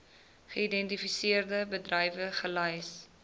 geïdentifiseerde bedrywe gelys